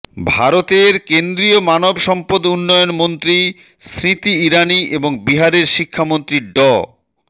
ভারতের কেন্দ্রীয় মানব সম্পদ উন্নয়ন মন্ত্রী স্মৃতি ইরানি এবং বিহারের শিক্ষামন্ত্রী ড